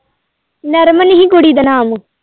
ਨਰਮਨ ਹੀ ਕੁੜੀ ਦਾ ਨਾਮ।